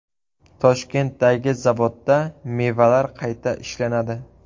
Toshkentdagi zavodda mevalar qayta ishlanadi.